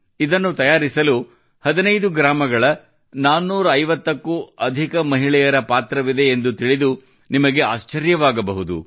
ಇದನ್ನು ತಯಾರಿಸಲು 15 ಗ್ರಾಮಗಳ 450 ಕ್ಕೂ ಅಧಿಕ ಮಹಿಳೆಯರ ಪಾತ್ರವಿದೆ ಎಂದು ತಿಳಿದು ನಿಮಗೆ ಆಶ್ಚರ್ಯವಾಗಬಹುದು